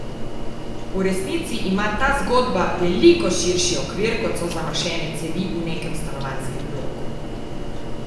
V resnici ima ta zgodba veliko širši okvir, kot so zamašene cevi v nekem stanovanjskem bloku.